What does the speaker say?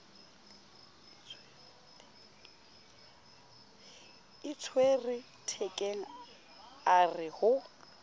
itshwere thekeng a re ho